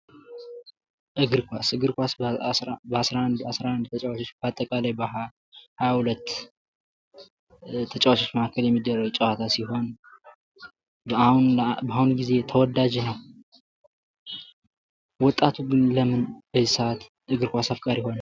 እግር ኳስ በ11 ተጫዋቾች በአጠቃላይ በ22 ተጫዋቾች መካከል የሚደረግ ጨዋታ ሲሆን በአሁኑ ጊዜ ተወዳጅ ነው። ወጣቱ ግን በዚህ ሰአት እግር ኳሽ አፍቃሪ ሆነ?